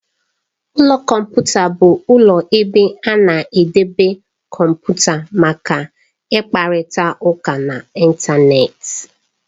Ụlọ kọmputa bụ ụlọ ebe a na-edobe kọmputa maka ịkparịta ụka n'Ịntanet.